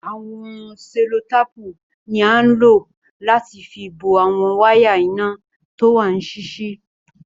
Awọn sẹ̀lọ̀tàpù ni ànlọ̀ láti fì bọ̀ awọn wàya iná tówà níṣiṣi